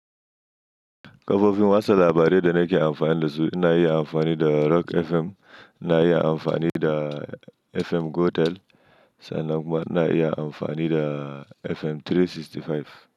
Kafofin watsa labarai da na ke amfani da su na iya amfani da Rock FM, na iya amfani da FM Gotel, sannan kuma ina iya amfani da FM 365.